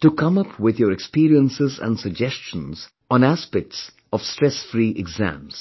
to come up with your experiences and suggestions on aspects of stress free exams